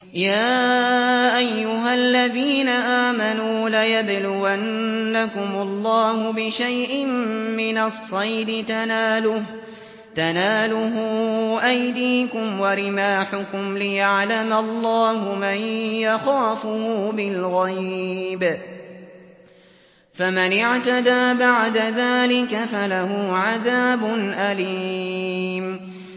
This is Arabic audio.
يَا أَيُّهَا الَّذِينَ آمَنُوا لَيَبْلُوَنَّكُمُ اللَّهُ بِشَيْءٍ مِّنَ الصَّيْدِ تَنَالُهُ أَيْدِيكُمْ وَرِمَاحُكُمْ لِيَعْلَمَ اللَّهُ مَن يَخَافُهُ بِالْغَيْبِ ۚ فَمَنِ اعْتَدَىٰ بَعْدَ ذَٰلِكَ فَلَهُ عَذَابٌ أَلِيمٌ